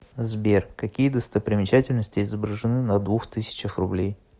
сбер какие достопримечательности изображены на двух тысячах рублей